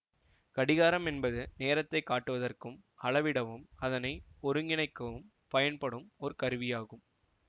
கடிகாரம் என்பது நேரத்தை காட்டுவதற்கும் அளவிடவும் அதனை ஒருங்கிணைக்கவும் பயன்படும் ஒரு கருவியாகும்